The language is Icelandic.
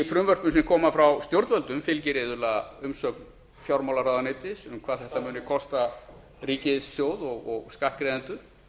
frumvörpum sem koma frá stjórnvöldum fylgir iðulega umsögn fjármálaráðuneytis um hvað þetta muni kosta ríkissjóð og skattgreiðendur